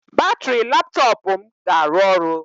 Batrị laptọọpụ m ga-arụ ọrụ.